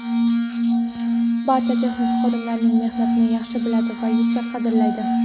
barcha texnik xodimlarning mehnatini yaxshi biladi va yuksak qadrlaydi.